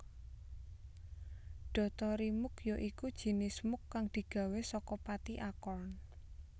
Dotorimuk ya iku jinis muk kang digawé saka pati acorn